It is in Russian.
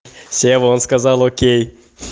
сева он сказал окей